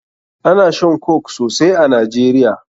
Ana shan Coke sosai a Nigeria.